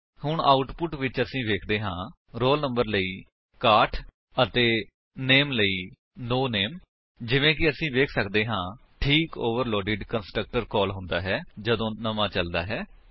ਹੁਣ ਆਉਟੁਪਟ ਵਿੱਚ ਅਸੀ ਵੇਖਦੇ ਹਾਂ ਰੋਲ ਨੰਬਰ ਲਈ 61 ਅਤੇ ਨਾਮੇ ਲਈ ਨੋ ਨਾਮੇ ਜਿਵੇਂ ਕਿ ਅਸੀ ਵੇਖ ਸੱਕਦੇ ਹਾਂ ਠੀਕ ਓਵਰਲੋਡੇਡ ਕੰਸਟਰਕਟਰ ਕਾਲ ਹੁੰਦਾ ਹੈ ਜਦੋਂ ਨਵਾਂ ਚਲਦਾ ਹੈ